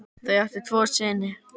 Þau áttu tvo syni.